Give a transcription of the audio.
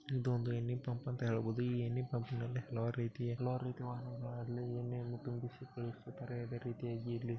ಇದೊಂದು ಎಣ್ಣೆ ಪಂಪ್ ಅಂತ ಹೇಳ್ಬಹುದು ಈ ಎಣ್ಣೆ ಪಂಪನಲ್ಲಿ ಹಲವಾರು ರೀತಿಯ ಎಣ್ಣೆಅನ್ನ ತುಂಬಿಸಿಕೊಳ್ಳುತಿದ್ದರೆ ಅದೇ ರೀತಿಯಾಗಿ ಇಲ್ಲಿ.